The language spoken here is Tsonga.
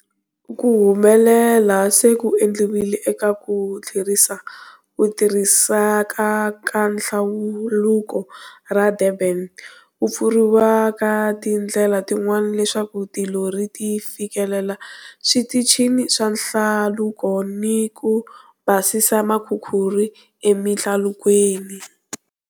Ku humelela se ku endliwile eka ku tlherisa ku tirhiseka ka Nhlaluko ra Durban, ku pfuriwa ka tindlela tin'wana leswaku tilori ti fikelela switichini swa nhlaluko ni ku basisa makhukhuri emihlalukweni.